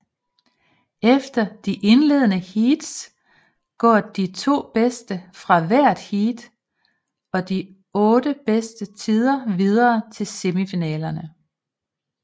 Efter de indledende heats går de to bedste fra hvert heat og de otte bedste tider videre til semifinalerne